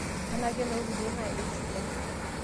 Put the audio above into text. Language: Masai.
tenaa kenoolkulie naa eisidai